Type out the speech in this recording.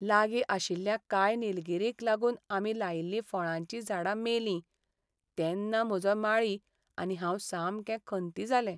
लागी आशिल्ल्या कांय निलगीरींक लागूनआमी लायिल्लीं फळांचीं झाडां मेलीं तेन्ना म्हजो माळी आनी हांव सामके खंती जाले.